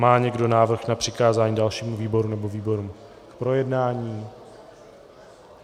Má někdo návrh na přikázání dalšímu výboru, nebo výborům k projednání?